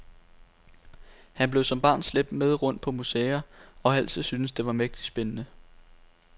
Han blev som barn slæbt med rundt på museer, og har altid syntes, det var mægtig spændende.